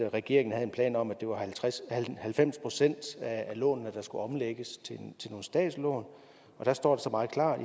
regeringen havde en plan om at det var halvfems halvfems procent af lånene der skulle omlægges til nogle statslån og der står så meget klart